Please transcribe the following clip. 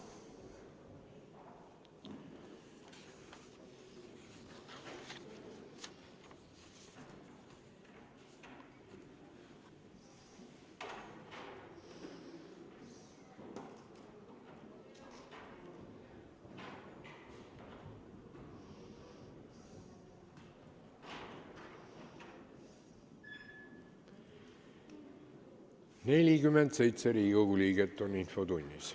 Kohaloleku kontroll Infotunnis on 47 Riigikogu liiget.